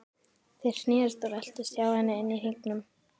Þeir snerust og veltust hjá henni inni í hringnum.